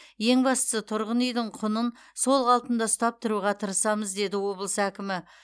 ең бастысы тұрғын үйдің құнын сол қалпында ұстап тұруға тырысамыз деді облыс әкімі